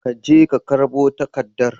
Ka je ka karbo takaddar.